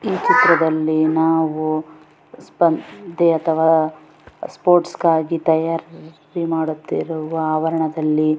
ಈ ಚಿತ್ರದಲ್ಲಿ ನಾವು ಸ್ಪರ್ಧೆ ಅಥವಾ ಸ್ಪೋರ್ಟ್ಸ್ಗಾಗಿದ್ದ ತಯಾರಿ ಮಾಡುತ್ತಿರುವ ಆವರಣದಲ್ಲಿ ಆವರಣದಲ್ಲಿ --